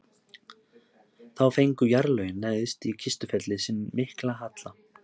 Þá fengu jarðlögin neðst í Kistufelli sinn mikla halla.